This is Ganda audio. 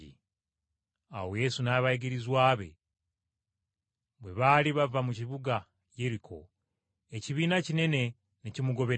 Awo Yesu n’abayigirizwa be bwe baali bava mu kibuga Yeriko, ekibiina kinene ne kimugoberera.